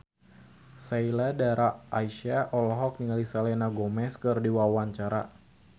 Sheila Dara Aisha olohok ningali Selena Gomez keur diwawancara